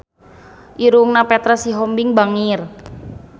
Irungna Petra Sihombing bangir